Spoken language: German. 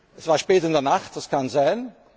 Es war spät in der Nacht, das kann sein.